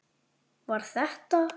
Var þetta.